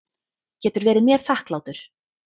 Getur verið mér þakklátur.